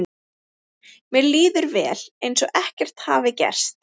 Mér líður vel, eins og ekkert hafi gerst.